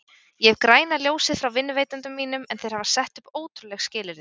Ég hef græna ljósið frá vinnuveitendum mínum en þeir hafa sett upp ótrúleg skilyrði.